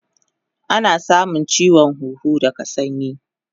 Ana samun chiwon huhu daga sanyi